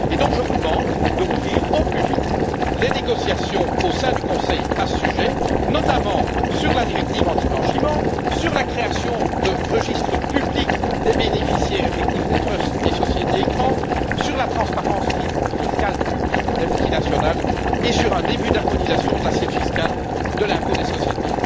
Je vous demande donc de rouvrir au plus vite les négociations au sein du Conseil à ce sujet, notamment sur la directive anti blanchiment, sur la création de registres publics des bénéficiaires effectifs des trusts et sociétés écrans, sur la transparence fiscale publique des multinationales et sur un début d'harmonisation de l'assiette fiscale de l'impôt des sociétés.